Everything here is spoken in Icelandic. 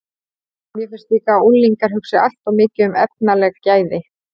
Mér finnst líka að unglingar hugsi allt of mikið um efnaleg gæði.